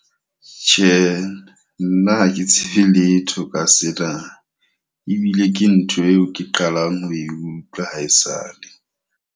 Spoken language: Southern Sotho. Tjhe, nna ha ke tsebe letho ka sena. Ebile ke ntho eo ke qalang ho e utlwa ha esale.